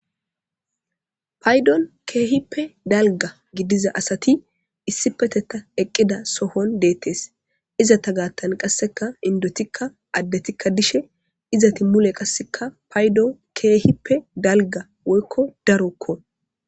paydon keehippe dalga gidiza asati issipeteta eqqida sohon deettes iza ta gaattan qasseka indotikka addetikka dishe izati mule qasseka paydon keehippe dalga woykko darokko